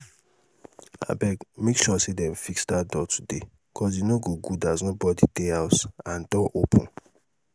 abeg make sure dem fix dat door today cos e no good as nobody dey house and door open